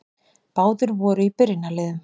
Báðir voru í byrjunarliðum.